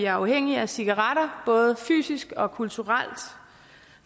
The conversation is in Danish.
afhængige af cigaretter både fysisk og kulturelt